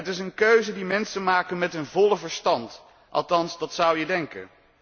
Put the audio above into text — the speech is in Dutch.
Het is een keuze die mensen maken met hun volle verstand althans dat zou je denken.